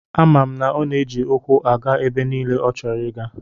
Ama m na ọ na-eji ụkwụ aga ebe niile ọchọrọ ịga.